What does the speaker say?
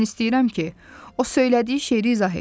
Mən istəyirəm ki, o söylədiyi şeiri izah etsin.